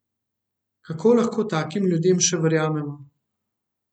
Kako lahko takim ljudem še verjamemo?